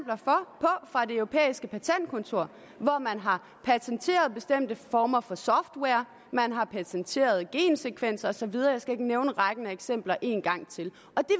og at det europæiske patentkontor hvor man har patenteret bestemte former for software man har patenteret gensekvenser og så videre jeg skal ikke nævne rækken af eksempler en gang til